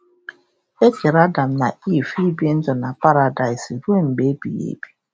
E kere Adam na Ivv ibi ndụ na paradaịs ruo mgbe ebighị ebi.